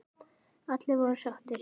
Allir voru sáttir.